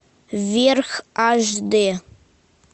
вверх аш дэ